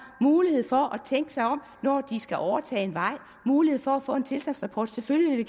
mulighed for at tænke sig om når de skal overtage en vej mulighed for at få en tilstandsrapport selvfølgelig vil